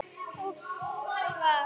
Og þagað.